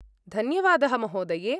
धन्यवादः, महोदये!